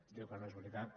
diu que no és veritat